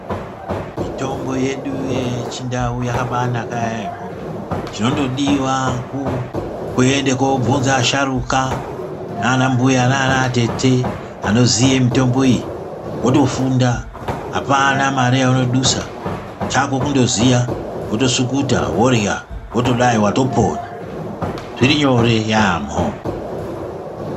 Mitombo yedu yechindau yakabaanaka yaemho chinondodiwa kuende koobvunza asharuka nana mbuya nana atete anoziye mitombo iyi wotofunda apana mare yaunodusa chako kundoziya wotsukuta worhya wotodai watopona zvirinyore yaambho.